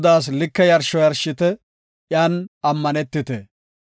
Godaas like yarsho yarshite; iyan ammanetite.